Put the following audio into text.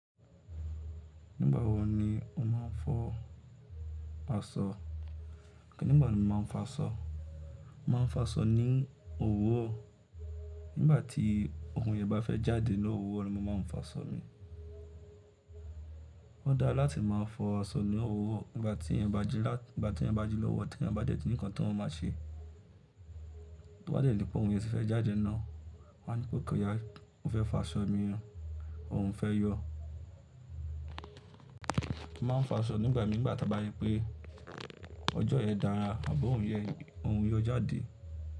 Nígbà wo ni o máa ń fọ aṣọ? Kí ni ìgbà tí mo máa ń fa sọ? Mo máa ń fo asọ ní òwúro, nígbà tí okunrun yẹ́n bá fẹ́ jáde ní òwúro ni mo máa ń fa sọ mi. Ó dára láti máa fọ aṣọ ní òwúro nígbà tí ẹeyan bá jí lọ́wuro, tí ẹeyan bá dé tí nǹkan tí wọn máa ṣe. Tí wọ́n bá dé nípa ohun ìyẹ́ tí fẹ́ jáde náà, wawọ́n á ní pé kò yá, ó fẹ́ fa sọ mi, òun fẹ́ yọ. Mo máa ń fo asọ nígbà mii, nigba tà ba ripé ọjọ́ yẹn dára àb'oorun ìyo jáde.